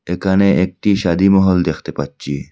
এখানে একটি শাদি মহল দেখতে পাচ্ছি।